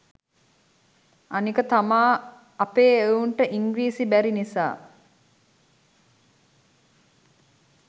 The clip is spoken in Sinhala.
අනික තමා අපේ එවුන්ට ඉංග්‍රීසි බැරි නිසා